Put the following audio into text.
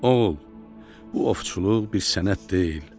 "Oğul, bu ovçuluq bir sənət deyil.